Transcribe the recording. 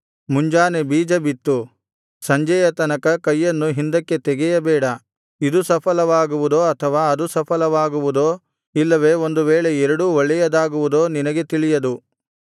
ಮುಂಜಾನೆ ಬೀಜ ಬಿತ್ತು ಸಂಜೆಯ ತನಕ ಕೈಯನ್ನು ಹಿಂದಕ್ಕೆ ತೆಗೆಯಬೇಡ ಇದು ಸಫಲವಾಗುವುದೋ ಅಥವಾ ಅದು ಸಫಲವಾಗುವುದೋ ಇಲ್ಲವೇ ಒಂದು ವೇಳೆ ಎರಡೂ ಒಳ್ಳೆಯದಾಗುವುದೋ ನಿನಗೆ ತಿಳಿಯದು